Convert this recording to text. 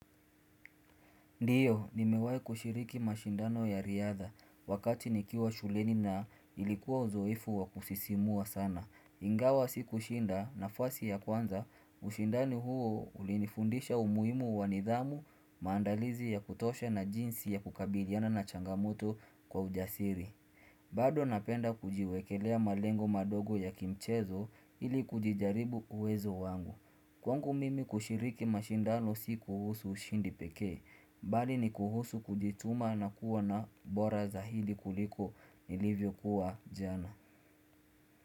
Ndiyo, nimewai kushiriki mashindano ya riadha, wakati nikiwa shuleni na ilikuwa uzoefu wa kusisimua sana. Ingawa sikushinda nafasi ya kwanza, ushindani huo ulinifundisha umuhimu wa nidhamu, maandalizi ya kutosha na jinsi ya kukabiliana na changamoto kwa ujasiri. Bado napenda kujiwekelea malengo madogo ya kimchezo ili kujijaribu uwezo wangu. Kwangu mimi kushiriki mashindano si kuhusu ushindi pekee bali ni kuhusu kujituma na kuwa na bora za hili kuliko nilivyokuwa jana.